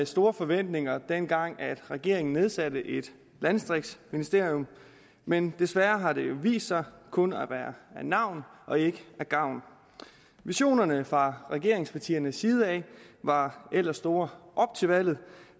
store forventninger dengang regeringen nedsatte et landdistriktsministerium men desværre har det vist sig kun at være af navn og ikke af gavn visionerne fra regeringspartiernes side var ellers store op til valget